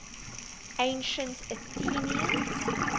ancient athenians